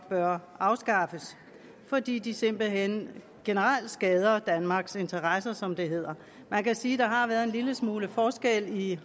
bør afskaffes fordi de simpelt hen generelt skader danmarks interesser som det hedder man kan sige at der har været en lille smule forskel i